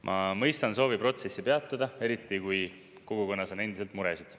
Ma mõistan soovi protsessi peatada, eriti kui kogukonnas on endiselt muresid.